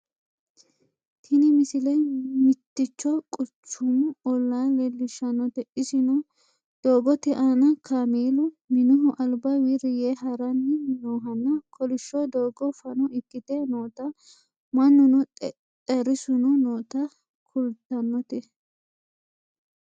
tini misile mitticho quchumu ollaa leellishshannote isino doogote aana kameelu minihu alba wirri yee haranni noohanna kolishsho doogo fano ikkite noota mannuno xexxerrisuno noota kultannote